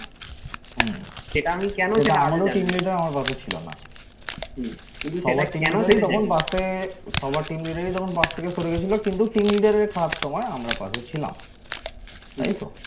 সবার team leader তখন পাশ থেকে সরে গেছিল কিন্তু team leader র খারাপ সময় আমরা পাশে ছিলাম তাই তো